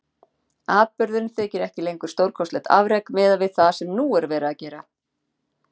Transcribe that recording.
Atburðurinn þykir ekki lengur stórkostlegt afrek miðað við það sem nú er verið að gera.